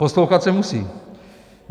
Poslouchat se musí.